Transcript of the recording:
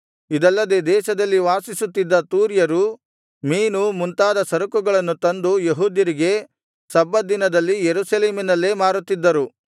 ಇದಲ್ಲದೆ ದೇಶದಲ್ಲಿ ವಾಸಿಸುತ್ತಿದ್ದ ತೂರ್ಯರು ಮೀನು ಮುಂತಾದ ಸರಕುಗಳನ್ನು ತಂದು ಯೆಹೂದ್ಯರಿಗೆ ಸಬ್ಬತ್ ದಿನದಲ್ಲಿ ಯೆರೂಸಲೇಮಿನಲ್ಲೇ ಮಾರುತ್ತಿದ್ದರು